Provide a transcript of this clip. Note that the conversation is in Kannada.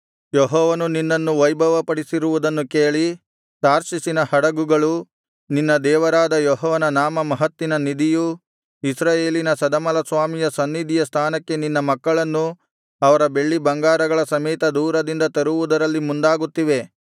ಯೆಹೋವನು ನಿನ್ನನ್ನು ವೈಭವಪಡಿಸಿರುವುದನ್ನು ಕೇಳಿ ತಾರ್ಷೀಷಿನ ಹಡಗುಗಳು ನಿನ್ನ ದೇವರಾದ ಯೆಹೋವನ ನಾಮಮಹತ್ತಿನ ನಿಧಿಯೂ ಇಸ್ರಾಯೇಲಿನ ಸದಮಲಸ್ವಾಮಿಯ ಸನ್ನಿಧಿಯ ಸ್ಥಾನಕ್ಕೆ ನಿನ್ನ ಮಕ್ಕಳನ್ನು ಅವರ ಬೆಳ್ಳಿ ಬಂಗಾರಗಳ ಸಮೇತ ದೂರದಿಂದ ತರುವುದರಲ್ಲಿ ಮುಂದಾಗುತ್ತಿವೆ